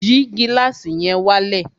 Yìí gílàsì yẹn wálẹ̀!